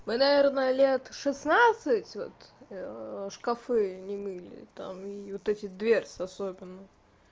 мы наверное лет шеснадцать вот шкафы не мыли там вот эти дверцы особенно